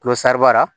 Kulosara